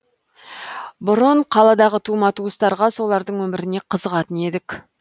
бұрын қаладағы тума туыстарға солардың өміріне қызығатын едік